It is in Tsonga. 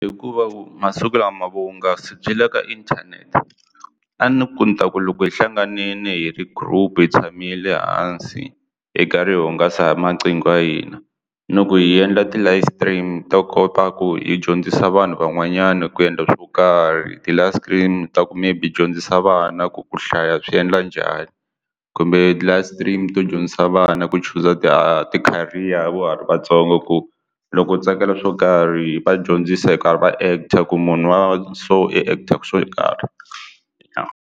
Hikuva masiku lama vuhungasi byi le ka inthanete a ni ku ni ta ku loko hi hlanganile hi ri group hi tshamile hansi hi karhi hi hungasa maqingo ya hina loko hi endla ti-live stream to kota ku hi dyondzisa vanhu van'wanyana ku endla swo karhi ti ta ku maybe hi dyondzisa vana ku hlaya swi endla njhani kumbe ti-live stream to dyondzisa vana ku chuza ti ti-career va ha ri vatsongo ku loko u tsakela swo karhi va dyondzisa hi karhi va actor ku munhu wa so i actor so .